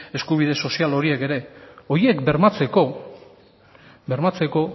eskubide sozial horiek horiek bermatzeko